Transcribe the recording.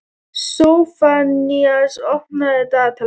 Sófónías, opnaðu dagatalið mitt.